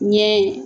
Ɲɛ